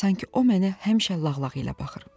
Sanki o mənə həmişə lağlağı ilə baxır.